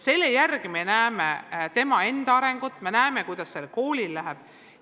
Selle järgi näeme tema enda arengut ja näeme ka seda, kuidas sellel koolil läheb.